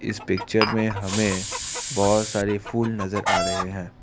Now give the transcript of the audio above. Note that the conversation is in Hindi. इस पिक्चर में हमें बहुत सारे फूल नजर आ रहे हैं।